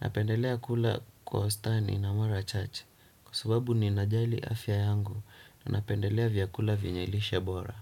napendelea kula kwa wastani na mara chache. Kwa sababu ninajali afya yangu napendelea vyakula venye lishe bora.